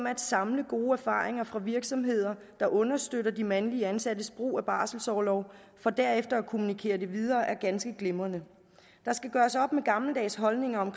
at samle gode erfaringer fra virksomheder der understøtter de mandlige ansattes brug af barselorlov for derefter at kommunikere det videre er ganske glimrende der skal gøres op med gammeldags holdninger om